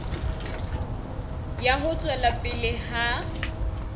ya ho tswela pele ha